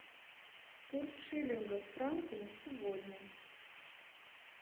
курс шиллинга к франку на сегодня